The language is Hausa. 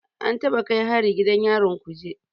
An taɓa kai hari gidan yarin Kuje